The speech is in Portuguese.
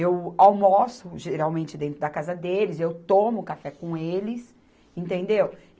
eu almoço, geralmente, dentro da casa deles, eu tomo café com eles, entendeu?